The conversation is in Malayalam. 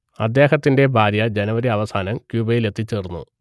അദ്ദേഹത്തിന്റെ ഭാര്യ ജനുവരി അവസാനം ക്യൂബയിലെത്തിച്ചേർന്നു